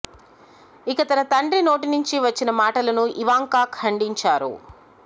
ఇక తన తండ్రి నోటి నుంచి వచ్చిన మాటలను ఇవాంకా ఖండించారు